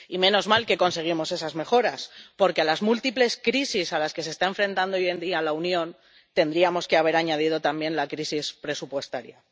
Y menos mal que conseguimos esas mejoras, porque a las múltiples crisis a las que se está enfrentando hoy en día la Unión, tendríamos que haber añadido también la crisis presupuestaria.